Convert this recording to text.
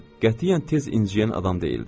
Qətiyyən tez inciyən adam deyildi.